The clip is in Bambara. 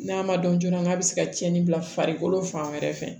N'a ma dɔn joona n'a bɛ se ka tiɲɛni bila farikolo fan wɛrɛ fɛ